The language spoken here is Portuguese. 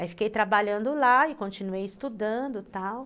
Aí, fiquei trabalhando lá e continuei estudando e tal.